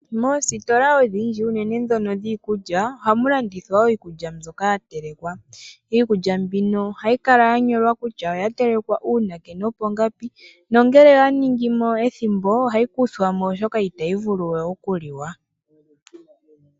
Moositola odhindji uunene dhono dhiikulya ohamu landithwa wo iikulya mbyoka yatelekwa. Iikulya mbino ohayi kala yanyolwa kutya oyatelekwa uunake nopongapi nangele oya ningimo ethimbo ohayi kuthwamo oshoka itayi vulu we okuliwa.